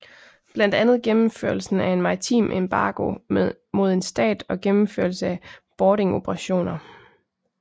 Blandt andet gennemførelsen af en maritim embargo mod en stat og gennemførelse af boardingoperationer